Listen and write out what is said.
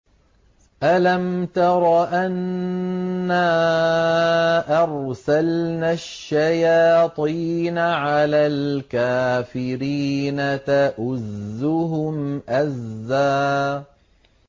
أَلَمْ تَرَ أَنَّا أَرْسَلْنَا الشَّيَاطِينَ عَلَى الْكَافِرِينَ تَؤُزُّهُمْ أَزًّا